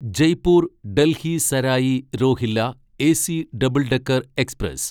Jaipur Delhi Sarai Rohilla AC double decker express